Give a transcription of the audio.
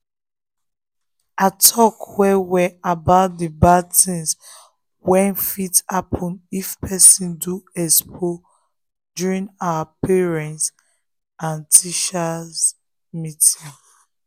i talk well well about the the bad things wey fit happen if person do expo during our parent-teacher meeting.